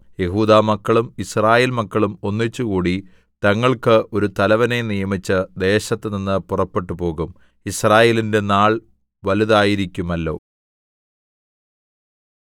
യെഹൂദാമക്കളും യിസ്രായേൽമക്കളും ഒന്നിച്ചുകൂടി തങ്ങൾക്കു ഒരു തലവനെ നിയമിച്ച് ദേശത്തുനിന്ന് പുറപ്പെട്ടുപോകും യിസ്രായേലിന്റെ നാൾ വലുതായിരിക്കുമല്ലോ